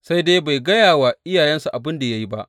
Sai dai bai gaya wa iyayensa abin da ya yi ba.